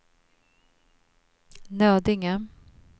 Nödinge